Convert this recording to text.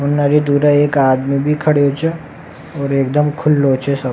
और नारे दूर एक आदमी भी खड़यो छे और एक दम खुल्लो छे सब।